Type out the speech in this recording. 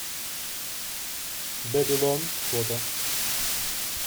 бэбилон фото